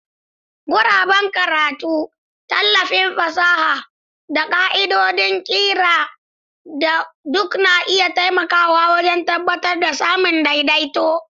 Guraben karatu, tallafin fasaha, da ƙa'idodin ƙira duk na iya taimakawa wajen tabbatar da samun daidaito.